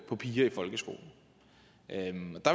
på piger i folkeskolen